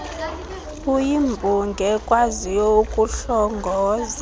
uyimbongi ekwaziyo ukuhlongoza